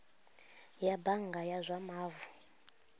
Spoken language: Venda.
ya bannga ya zwa mavu